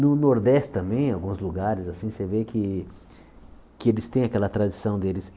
No Nordeste também, em alguns lugares assim, você vê que que eles têm aquela tradição deles.